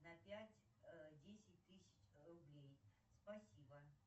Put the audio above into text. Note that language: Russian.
на пять десять тысяч рублей спасибо